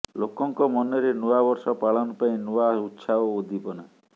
ଲୋକଙ୍କ ମନରେ ନୂଆ ବର୍ଷ ପାଳନ ପାଇଁ ନୂଆ ଉତ୍ସାହ ଓ ଉଦ୍ଦୀପନା